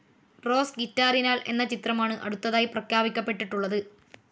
Rose ഗിറ്റാറിനാൽ എന്ന ചിത്രമാണ് അടുത്തതായി പ്രഖ്യാപിക്കപ്പെട്ടിട്ടുള്ളത്.